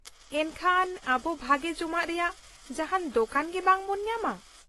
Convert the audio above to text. ᱮᱱᱠᱷᱟᱱ, ᱟᱵᱚ ᱵᱷᱟᱹᱜᱤ ᱡᱚᱢᱟᱜ ᱨᱮᱭᱟᱜ ᱡᱟᱦᱟᱱ ᱫᱳᱠᱟᱱ ᱜᱮ ᱵᱟᱝ ᱵᱚᱱ ᱧᱟᱢᱟ ?